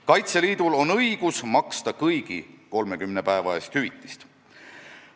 Kaitseliidul on õigus maksta kõigi 30 päeva eest hüvitist.